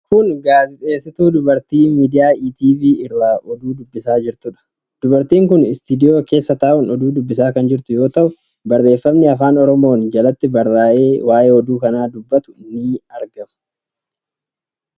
Kun dubartii miidiyaa Etv irraa oduu dubbisaa jirtuudha. Dubartiin kun istiidiyoo keessa taa'un oduu dubbisaa kan jirtu yoo ta'u, barreeffamni Afaan Oromoon jaltti barraa'e waa'ee oduu kanaa dubbatu ni argama.